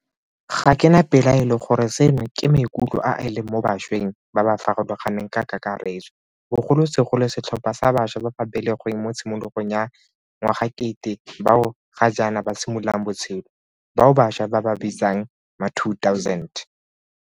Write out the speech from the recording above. Ga ke na pelaelo gore seno ke maikutlo a a leng mo bašweng ba ba farologaneng ka kakaretso, bogolosegolo setlhopha sa bašwa ba ba belegweng mo tshimologong ya ngwagakete bao ga jaana ba simololang botshelo, bao bašwa ba ba bitsang ma2000.